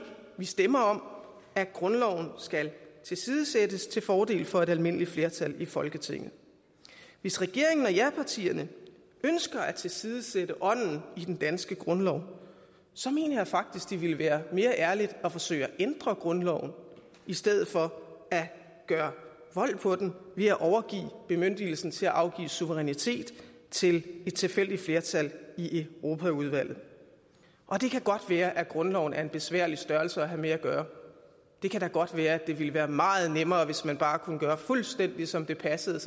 stemmer om at grundloven skal tilsidesættes til fordel for et almindeligt flertal i folketinget hvis regeringen og japartierne ønsker at tilsidesætte ånden i den danske grundlov mener jeg faktisk det ville være mere ærligt at forsøge at ændre grundloven i stedet for at gøre vold på den ved at overgive bemyndigelsen til at afgive suverænitet til et tilfældigt flertal i europaudvalget og det kan godt være at grundloven er en besværlig størrelse at have med at gøre og det kan da godt være det ville være meget nemmere hvis man bare kunne gøre fuldstændig som det passede